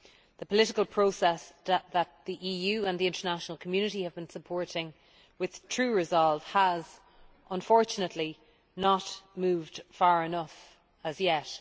The political process that the EU and the international community have been supporting with true resolve has, unfortunately, not moved far enough as yet.